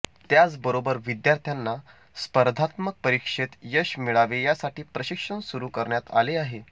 त्याचबरोबर विद्यार्थ्यांना स्पर्धात्मक परीक्षेत यश मिळावे यासाठी प्रशिक्षण सुरू करण्यात आले आहे